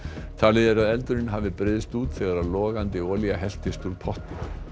talið er að eldurinn hafi breiðst út þegar logandi olía helltist úr potti